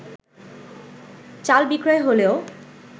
চাল বিক্রয় হলেও